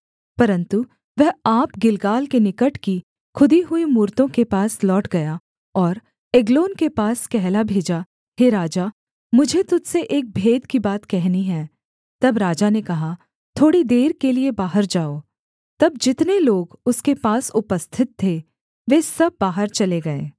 परन्तु वह आप गिलगाल के निकट की खुदी हुई मूरतों के पास लौट गया और एग्लोन के पास कहला भेजा हे राजा मुझे तुझ से एक भेद की बात कहनी है तब राजा ने कहा थोड़ी देर के लिये बाहर जाओ तब जितने लोग उसके पास उपस्थित थे वे सब बाहर चले गए